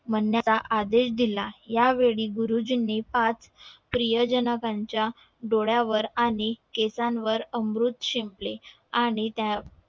म्हण्या चा आदेश दिला या वेळी गुरुजींनी पाच प्रिय जणांनच्या डोळ्या वर आणि केसांवर अमृत शिंपले आणि त्या